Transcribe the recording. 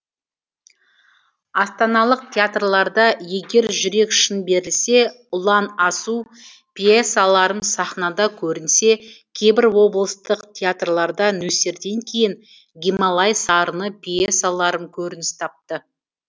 астаналық театрларда егер жүрек шын берілсе ұлан асу пьесаларым сахнада көрінсе кейбір облыстық театрларда нөсерден кейін гималай сарыны пьесаларым көрініс тапты